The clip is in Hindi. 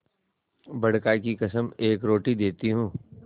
बड़का की कसम एक रोटी देती हूँ